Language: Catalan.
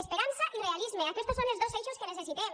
esperança i realisme aquestos són els dos eixos que necessitem